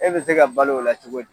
E be se ka balo o la cogo di ?